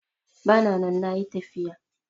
Bana nan nayi tafiya